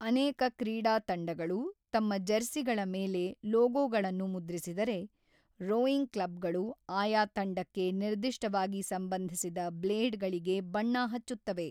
ಅನೇಕ ಕ್ರೀಡಾ ತಂಡಗಳು ತಮ್ಮ ಜೆರ್ಸಿಗಳ ಮೇಲೆ ಲೋಗೋಗಳನ್ನು ಮುದ್ರಿಸಿದರೆ, ರೋಯಿಂಗ್ ಕ್ಲಬ್‌ಗಳು ಆಯಾ ತಂಡಕ್ಕೆ ನಿರ್ದಿಷ್ಟವಾಗಿ ಸಂಬಂಧಿಸಿದ ಬ್ಲೇಡ್‌ಗಳಿಗೆ ಬಣ್ಣ ಹಚ್ಚುತ್ತವೆ.